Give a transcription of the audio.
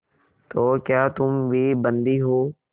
तो क्या तुम भी बंदी हो